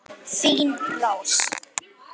Þín Rós.